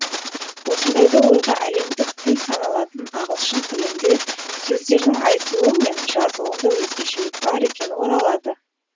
осындайда ойға әлемдік тіл саналатын ағылшын тілінде сөздердің айтылуы мен жазылуында өзгешелік бар екені оралады